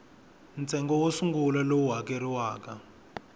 ntsengo wo sungula lowu hakeriwaka